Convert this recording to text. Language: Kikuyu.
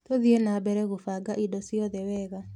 Tũthie na mbere gũbanga indo ciothe wega.